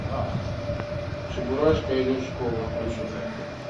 чебурашка идет в школу включи